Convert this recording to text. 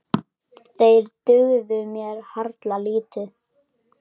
Þeir dugðu mér harla lítið.